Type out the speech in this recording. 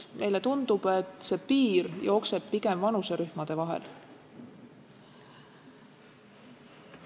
Meile tundub, et see piir jookseb pigem vanuserühmade vahel.